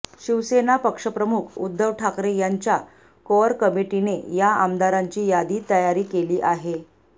शिवसेना पक्षप्रमुख उद्धव ठाकरे यांच्या कोअर कमिटीने या आमदारांची यादी तयारी केली आहे